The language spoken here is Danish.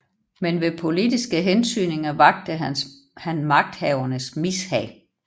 Men ved politiske hentydninger vakte han magthavernes mishag